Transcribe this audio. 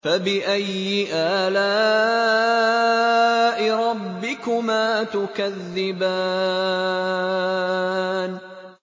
فَبِأَيِّ آلَاءِ رَبِّكُمَا تُكَذِّبَانِ